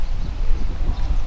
Ay maşın.